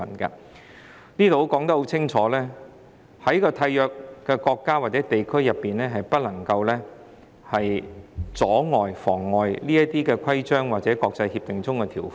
這裏清楚指出，締約國家或地區不能夠妨礙這些國際協定的條款。